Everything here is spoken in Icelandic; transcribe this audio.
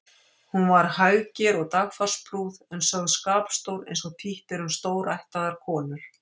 Hún var hægger og dagfarsprúð en sögð skapstór eins og títt er um stórættaðar konur.